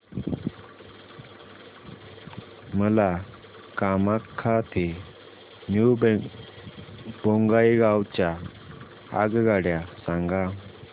मला कामाख्या ते न्यू बोंगाईगाव च्या आगगाड्या सांगा